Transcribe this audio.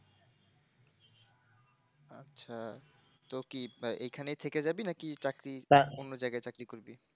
আচ্ছা তো কি এখানে থেকে যাবি নাকি চাকরি অন্য জায়গায় চাকরি করবি?